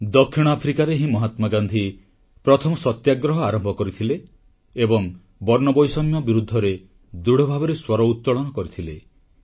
ଦକ୍ଷିଣ ଆଫ୍ରିକାରେ ହିଁ ମହାତ୍ମା ଗାନ୍ଧୀ ପ୍ରଥମ ସତ୍ୟାଗ୍ରହ ଆରମ୍ଭ କରିଥିଲେ ଏବଂ ବର୍ଣ୍ଣବୈଷମ୍ୟ ବିରୁଦ୍ଧରେ ଦୃଢ଼ଭାବରେ ସ୍ୱର ଉତୋଳନ କରିଥିଲେ